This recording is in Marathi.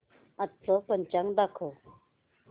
आजचं पंचांग दाखव